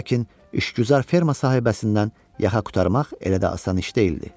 Lakin işgüzar ferma sahibəsindən yaxa qurtarmaq elə də asan iş deyildi.